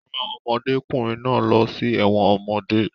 Wọ́n rán ọmọdékùnrin náà lọ sí ẹ̀wọ̀n ọmọdé